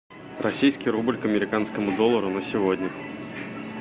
российский рубль к американскому доллару на сегодня